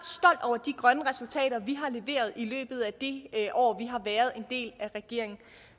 over de grønne resultater vi har leveret i løbet af det år vi har været en del af regeringen